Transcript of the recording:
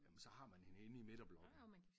Jamen så har man hende inde i midterblokken